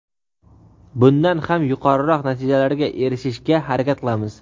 bundan ham yuqoriroq natijalarga erishishga harakat qilamiz.